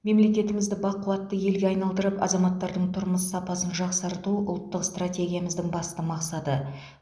мемлекетімізді бақуатты елге айналдырып азаматтардың тұрмыс сапасын жақсарту ұлттық стратегиямыздың басты мақсаты